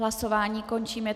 Hlasování končím.